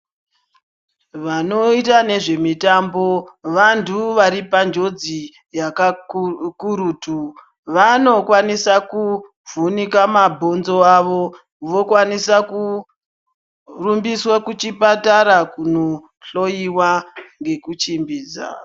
Vanoita nezvemitambo vantu varipanjodzi yakakurutu. Vanokwanisa kuvhunika mabhonzo awo vokwanise kurumbiswe kuchipatara kunohloyiwa ngekuchimbidza.